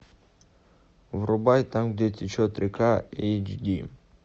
врубай там где течет река эйч ди